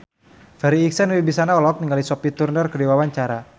Farri Icksan Wibisana olohok ningali Sophie Turner keur diwawancara